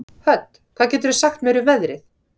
Hödd, hvað geturðu sagt mér um veðrið?